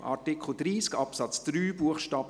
Abstimmung (Art. 30 Abs. 3 Bst.